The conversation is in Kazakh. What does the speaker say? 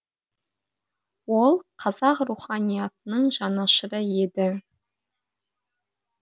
ол қазақ руханиятының жанашыры еді